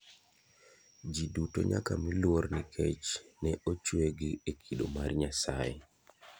Ji duto nyaka mi luor nikech ne ochue gi e kido mar Nyasaye.